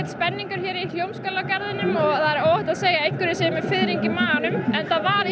spenningur hér í Hljómskálagarðinum og það er óhætt að segja að einhver sé með fiðring í maganum enda var